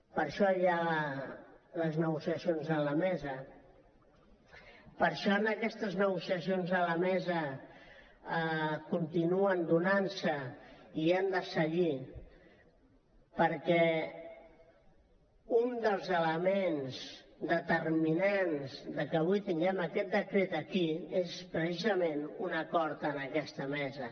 per això hi ha les negociacions a la mesa per això aquestes negociacions a la mesa continuen donant se i han de seguir perquè un dels elements determinants de que avui tinguem aquest decret aquí és precisament un acord en aquesta mesa